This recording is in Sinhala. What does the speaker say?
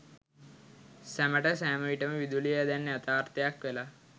සැමට සෑමවිටම විදුලිය දැන් යථාර්ථයක් වෙලා.